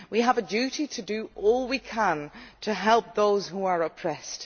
We have a duty to do all we can to help those who are oppressed.